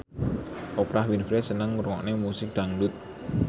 Oprah Winfrey seneng ngrungokne musik dangdut